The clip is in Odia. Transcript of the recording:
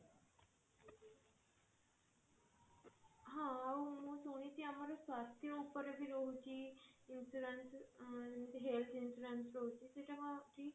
ହଁ ଆଉ ମୁଁ ଶୁଣିଛି ଆମର ସ୍ୱାସ୍ଥ୍ୟ ଉପରେ ବି ରହୁଛି insurance ଯେମିତି health insurance ରହୁଛି ସେଟା ରହୁଛି